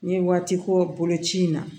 N ye waati ko boloci in na